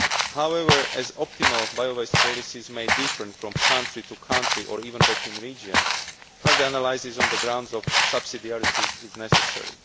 However, as optimal bio waste policies may differ from country to country or even between regions, further analysis on the grounds of subsidiarity is necessary.